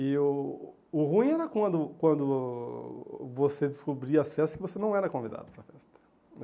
E o o ruim era quando quando você descobria às festas que você não era convidado para a festa né.